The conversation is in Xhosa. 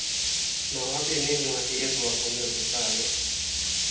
mawabe neencwadi eziwagunyazisayo